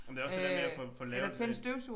Men det også det der med at få få lavet det